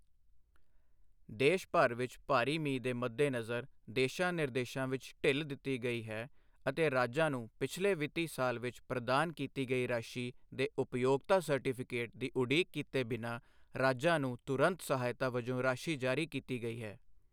ਦੇਸ਼ ਭਰ ਵਿੱਚ ਭਾਰੀ ਮੀਂਹ ਦੇ ਮੱਦੇਨਜ਼ਰ, ਦਿਸ਼ਾ ਨਿਰਦੇਸ਼ਾਂ ਵਿੱਚ ਢਿੱਲ ਦਿੱਤੀ ਗਈ ਹੈ ਅਤੇ ਰਾਜਾਂ ਨੂੰ ਪਿਛਲੇ ਵਿੱਤੀ ਸਾਲ ਵਿੱਚ ਪ੍ਰਦਾਨ ਕੀਤੀ ਗਈ ਰਾਸ਼ੀ ਦੇ ਉਪਯੋਗਤਾ ਸਰਟੀਫਿਕੇਟ ਦੀ ਉਡੀਕ ਕੀਤੇ ਬਿਨਾਂ ਰਾਜਾਂ ਨੂੰ ਤੁਰੰਤ ਸਹਾਇਤਾ ਵਜੋਂ ਰਾਸ਼ੀ ਜਾਰੀ ਕੀਤੀ ਗਈ ਹੈ।